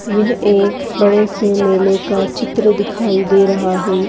यह एक बड़े से मेले का चित्र दिखाई दे रहा है।